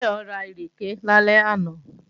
Táyọ̀ ra ìrèké lálẹ́ àná